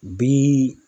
Bi